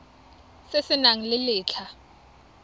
se se nang le letlha